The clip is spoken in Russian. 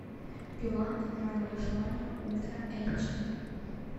пила игра на выживание ультра эйч ди